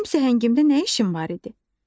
Mənim səhəngimdə nə işin var idi?